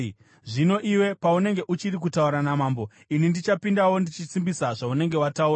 Zvino iwe paunenge uchiri kutaura namambo, ini ndichapindawo ndichisimbisa zvaunenge wataura.”